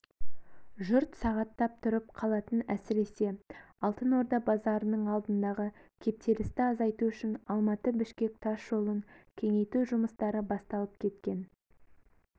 жұрт сағаттап тұрып қалатын әсіресе алтын орда базарының алдындағы кептелісті азайту үшін алматы-бішкек тас жолын кеңейту жұмыстары басталып кеткен